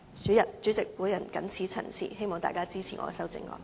代理主席，我謹此陳辭，希望大家支持我的修正案。